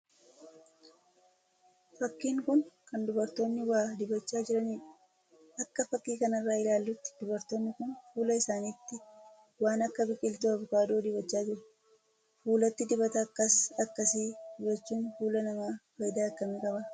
Fakkiin kun kan dubartoonni waa dibachaa jiraniidha. akka fakkii kanarraa ilaallutti dubartoonni kun fuula isaaniitti waan akka biqiltuu avokaadoo dibachaa jiru. Fuulatti dibata akkas akkasii dibachuun fuula namaaf fayidaa akkamii qaba?